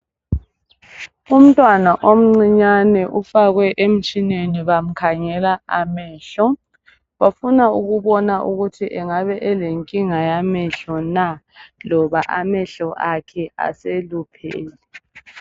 Umntwana omncinyane ufakwe emtshineni bamkhangela amehlo bafuna ukubona ukuthi engabe elenkinga yamehlo na loba amehlo akhe aseluphele.